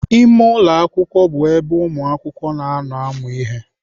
Ime ụlọ akwụkwọ bụ ebe ụmụakwụkwọ na-anọ amụ ihe.